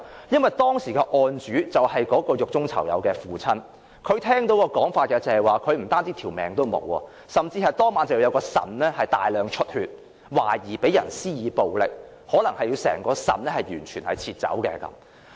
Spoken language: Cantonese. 因為當時的案主是獄中囚友的父親，他聽到一種說法，就是他的兒子不單會失去性命，其腎臟當晚甚至大量出血，懷疑被人施以暴力，可能要切除整個腎臟。